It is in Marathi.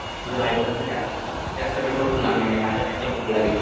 तुझ्या बाईक ला तर जास्त, जास्त पेट्रोल पण लागणार नाही . माझ्या बाईक ला खूप लागेल.